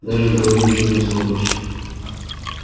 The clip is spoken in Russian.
даже говорить не сможешь